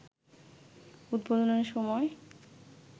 উদ্বোধনের সময়